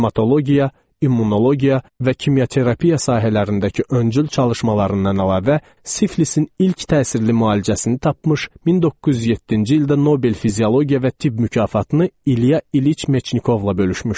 Hematologiya, immunologiya və kimyaterapiya sahələrindəki öncül çalışmalarından əlavə siflisin ilk təsirli müalicəsini tapmış, 1907-ci ildə Nobel fiziologiya və tibb mükafatını İlya İliç Meçnikovla bölüşmüşdü.